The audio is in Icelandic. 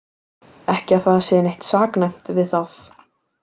Ekki að það sé neitt saknæmt við það.